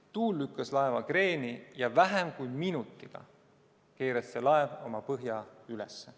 Tuul lükkas laeva kreeni ja vähem kui minutiga keeras see laev oma põhja üles.